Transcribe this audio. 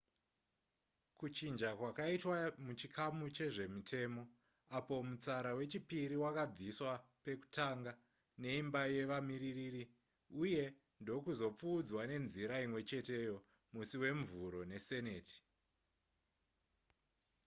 kuchinja kwakaitwa muchikamu chezvemitemo apo mutsara wechipiri wakabviswa pekutanga neimba yevamiririri uye ndokuzopfuudzwa nenzira imwecheteyo musi wemuvhuro neseneti